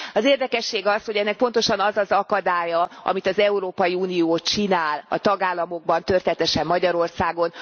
Az érdekesség az, hogy ennek pontosan az az akadálya, amit az Európai Unió csinál a tagállamokban, történetesen Magyarországon.